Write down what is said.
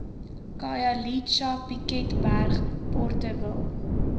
khayelitsha piketberg porterville